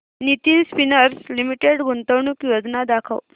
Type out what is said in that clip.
Nitin spinners limited गुंतवणूक योजना दाखव